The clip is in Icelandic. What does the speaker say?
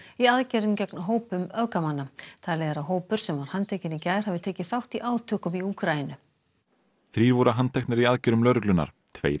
í aðgerðum gegn hópum öfgamanna talið er að hópur sem var handtekinn í gær hafi tekið þátt í átökum í Úkraínu þrír voru handteknir í aðgerðum lögreglunnar tveir